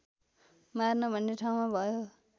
मार्न भन्ने ठाउँमा भयो